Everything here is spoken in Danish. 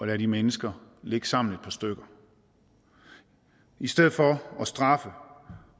lade de mennesker ligge sammen et par stykker i stedet for at straffe